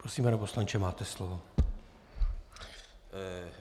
Prosím, pane poslanče, máte slovo.